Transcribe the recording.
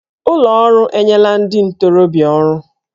Ụlọ ọrụ enyela ndị ntorobịa ọrụ